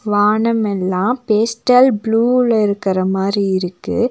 வானம் எல்லா பேஸ்டல் ப்ளூல இருக்கிற மாரி இருக்கு.